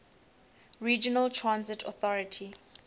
regional transit authority